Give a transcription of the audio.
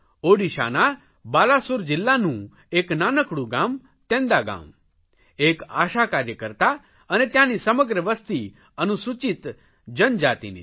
ઓડિશાના બાલાસોર જિલ્લાના એક નાનકડું ગામ તેંદાગાંવ એક આશા કાર્યકર્તા અને ત્યાંની સમગ્ર વસતિ અનુસૂચિત જનજાતિની છે